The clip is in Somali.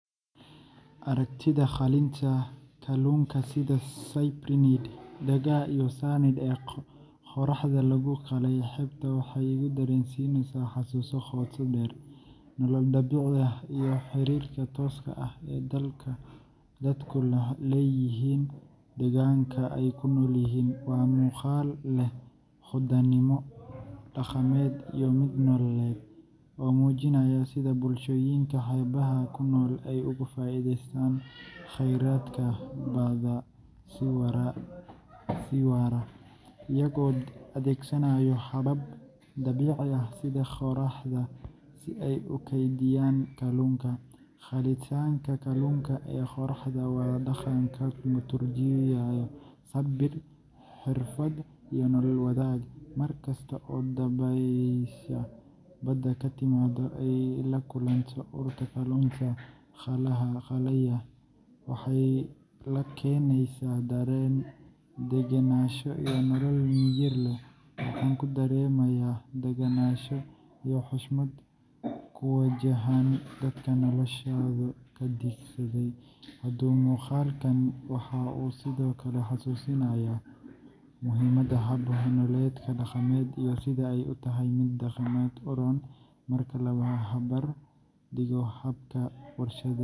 Aragtida qalinka kalluunka sida cyprinid dagaa iyo sardines ee qoraxda lagu qalay xeebta waxay igu dareensiinaysaa xasuuso qoto dheer, nolol dabiici ah, iyo xiriirka tooska ah ee dadku la leeyihiin deegaanka ay ku nool yihiin. Waa muuqaal leh hodannimo dhaqameed iyo mid nololeed, oo muujinaya sida bulshooyinka xeebaha ku nool ay uga faa’iideystaan kheyraadka badda si waara, iyagoo adeegsanaya habab dabiici ah sida qoraxda si ay u kaydiyaan kalluunka. Qalitaanka kalluunka ee qoraxda waa dhaqan ka turjumaya sabir, xirfad, iyo nolol wadaag mar kasta oo dabaysha badda ka timaadda ay la kulanto urta kalluunka qalaya, waxay la keenaysaa dareen degenaansho iyo nolol miyir leh. Waxaan ku dareemayaa daganaansho iyo xushmad ku wajahan dadka noloshooda ka dhistay badda. Muuqaalkani waxa uu sidoo kale xasuusinayaa muhiimadda hab-nololeedyada dhaqameed iyo sida ay u tahay mid deegaanka u roon marka la barbar dhigo hababka warshadaysan.